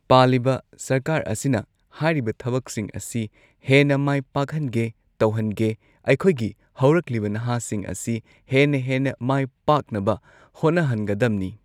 ꯄꯥꯜꯂꯤꯕ ꯁꯔꯀꯥꯔ ꯑꯁꯤꯅ ꯍꯥꯏꯔꯤꯕ ꯊꯕꯛꯁꯤꯡ ꯑꯁꯤ ꯍꯦꯟꯅ ꯃꯥꯏ ꯄꯥꯛꯍꯟꯒꯦ ꯇꯧꯍꯟꯒꯦ ꯑꯩꯈꯣꯏꯒꯤ ꯍꯧꯔꯛꯂꯤꯕ ꯅꯍꯥꯁꯤꯡ ꯑꯁꯤ ꯍꯦꯟꯅ ꯍꯦꯟꯅ ꯃꯥꯏ ꯄꯥꯛꯅꯕ ꯍꯣꯠꯅꯍꯟꯒꯗꯝꯅꯤ꯫